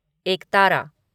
एकतारा